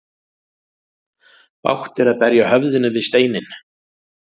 Bágt er að berja höfðinu við steinninn.